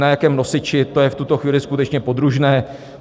Na jakém nosiči, to je v tuto chvíli skutečně podružné.